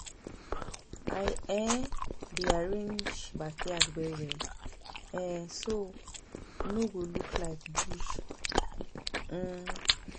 I um dey arrange backyard well well, um so e no go look like bush. um